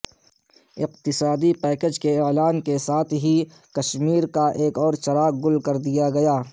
اقتصادی پیکیج کے اعلان کے ساتھ ہی کشمیرکا ایک اورچراغ گل کردیاگیا